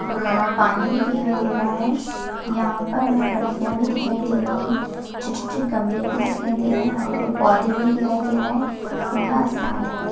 अह पानी भी दिखाई दे रहा है यहा पर हमे खिड्किया भी दिखाई दे रही है छोटी-छोटी गमले भी दिखाई दे रहे है हरी हरी पौधे भी दिखाई दे रहे है नीला आसमान दिखाई --